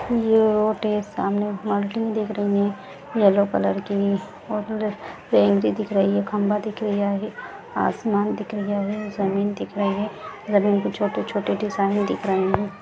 ये रोड है सामने बाउंड्री दिख रही है येलो कलर की और दिख रही है खम्बा दिख रहा है आसमान दिख रहा है ज़मीन दिख रही है. जमीन पर छोटे छोटे डिजाईन दिख रहे है।